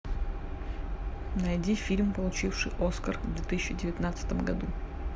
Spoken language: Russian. найди фильм получивший оскар в две тысячи девятнадцатом году